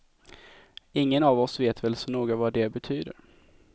Ingen av oss vet väl så noga vad det betyder.